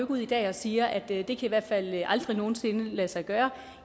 ud i dag og siger at det i hvert fald aldrig nogen sinde kan lade sig gøre